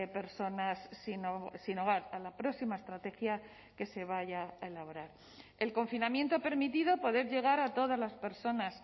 personas sin hogar a la próxima estrategia que se vaya a elaborar el confinamiento ha permitido poder llegar a todas las personas